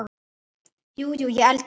Jú, jú, ég ældi.